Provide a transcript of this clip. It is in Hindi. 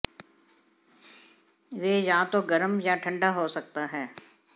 वे या तो गर्म या ठंडा हो सकता है